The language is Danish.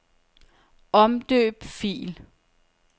Omdøb fil.